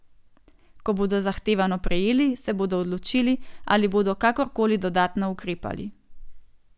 Ko bodo zahtevano prejeli, se bodo odločili, ali bodo kakor koli dodatno ukrepali.